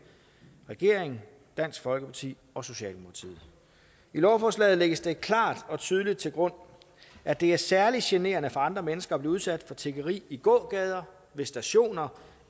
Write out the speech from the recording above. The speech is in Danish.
regeringen dansk folkeparti og socialdemokratiet i lovforslaget lægges det klart og tydeligt til grund at det er særlig generende for andre mennesker at blive udsat for tiggeri i gågader ved stationer